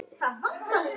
Bjarni Rósar Nei.